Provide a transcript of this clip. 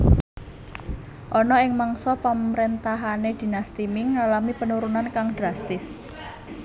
Ana ing mangsa pamrentahane Dinasti Ming ngalami penurunan kang drastis